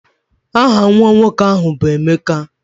Aha nwa nwoke ahụ bụ Emeka